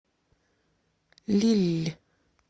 лилль